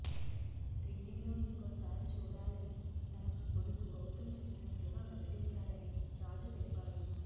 త్రీడీలో ఇంకోసారి చూడాలని తన కొడుకు గౌతమ్ చెప్పినట్లుగా వెల్లడించాడని రాజు తెలిపాడు